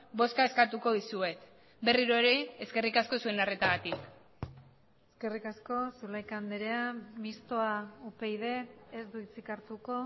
bozka eskatuko dizuet berriro ere eskerrik asko zuen arretagatik eskerrik asko zulaika andrea mistoa upyd ez du hitzik hartuko